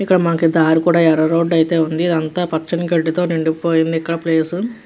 ఇక్కడ మనకి దారి కూడా ఎర్ర రోడ్ ఐతే ఉంది ఇదంతా పచ్చని గడ్డి తో నిండి పోయింది ఇక్కడ ప్లేసు .